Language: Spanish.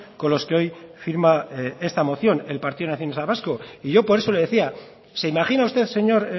con los que hoy firma esta moción el partido nacionalista vasco y yo por eso le decía se imagina usted señor